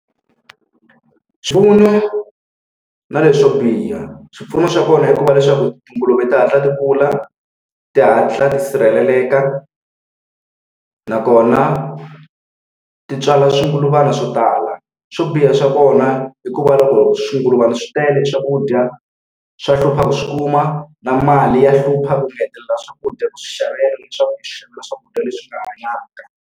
Swipfuno na leswo biha. Swipfuno swa kona i ku va leswaku tinguluve ti hatla ti kula, ti hatla ti sirheleleka, nakona ti tswala swigulubyana swo tala. Swo biha swa kona i ku va loko swigulubyana swi tele swakudya swa hlupha ku swi kuma, na mali ya hlupha u nga hetelela swakudya ku xavela leswaku xaveriwa swakudya leswi nga hanyaka.